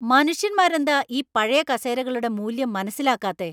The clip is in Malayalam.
മനുഷ്യന്മാരെന്താ ഈ പഴയ കസേരകളുടെ മൂല്യം മനസിലാക്കാത്തെ?